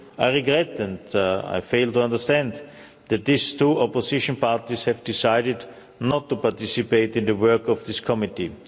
I regret and I fail to understand that these two opposition parties have decided not to participate in the work of this committee.